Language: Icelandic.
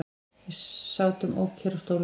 Við sátum ókyrr á stólunum.